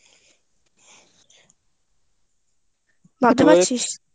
ভাবতে পারছিল